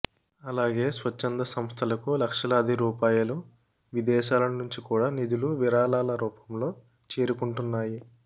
అలాగే స్వచ్ఛంద సంస్థలకు లక్షలాది రూపాయలు విదేశాల నుంచి కూడా నిధులు విరాళాలరూపంలో చేరుకుంటున్నాయి